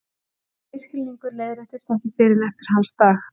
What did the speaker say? Þessi misskilningur leiðréttist ekki fyrr en eftir hans dag.